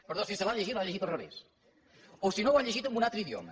perdó si se l’ha llegida l’ha llegida al revés o si no ho ha llegit en un altre idioma